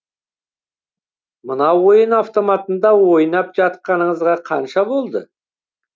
мына ойын автоматында ойнап жатқаныңызға қанша болды